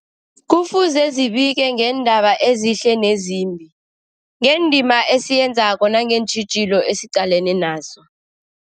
Kufuze zibike ngeendaba ezihle nezimbi, ngendima esiyenzako nangeentjhijilo esiqalene nazo.